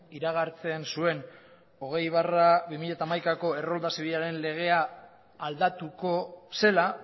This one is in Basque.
iragartzen zuen hogei barra bi mila hamaikako errolda zibilaren legea aldatuko zela